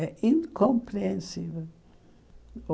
É incompreensível.